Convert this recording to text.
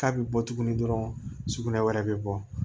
K'a bɛ bɔ tuguni dɔrɔn sugunɛ wɛrɛ bɛ bɔ